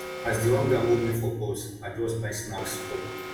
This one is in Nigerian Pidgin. as di hunger hold me for bus i just buy snacks chop